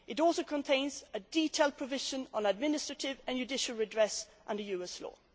It also contains a detailed provision on administrative and judicial redress under US